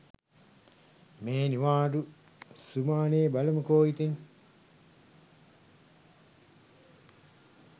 මේ නිවාඩු සුමානේබලමුකෝ ඉතින්